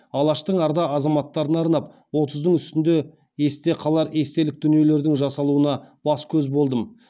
алаштың арда азаматтарына арнап отыздың үстінде есте қалар естелік дүниелердің жасалуына бас көз болдым